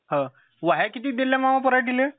हम्म किती दिल्या मामा पराटिले?